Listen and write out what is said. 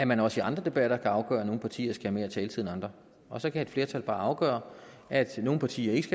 man også i andre debatter kan afgøre at nogle partier skal have mere taletid end andre og så kan et flertal altså bare afgøre at nogle partier ikke